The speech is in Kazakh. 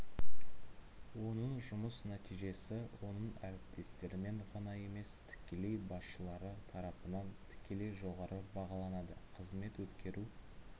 оның жұмыс нәтижесі оның әріптестерімен ғана емес тікелей басшылары тарапынан тікелей жоғары бағаланады қызмет өткеру